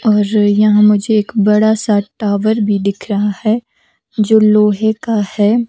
और यहाँ मुझे एक बड़ा सा टावर भी दिख रहा है जो लोहे का है।